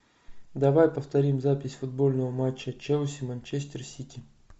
давай повторим запись футбольного матча челси манчестер сити